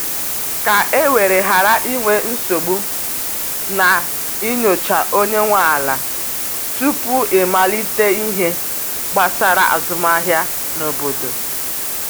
ka e were ghara inwe nsogbu, na e nyocha onye nwe ala tupu i malite ihe gbasara azụmahịa n’obodo